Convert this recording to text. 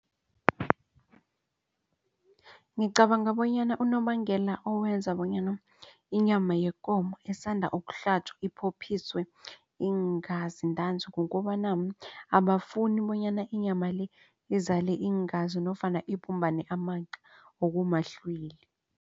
Ngicabanga bonyana unobangela owenza bonyana inyama yekomo osanda ukuhlatjwa iphophiswe iingazi ntanzi kukobana abafuni bonyana inyama le izale iingazi nofana ibumbane amaqa okumahlwili.